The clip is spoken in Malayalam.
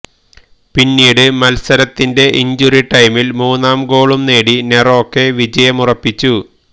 പിന്നീട് മത്സരത്തിന്റെ ഇഞ്ചുറി ടൈമില് മൂന്നാം ഗോളും നേടി നെറോക്ക വിജയമുറപ്പിച്ചു